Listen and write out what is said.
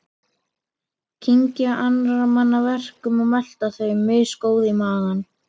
Kyngja annarra manna verkum og melta þau, misgóð í maga.